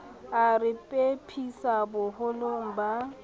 a re phephisa boholong ba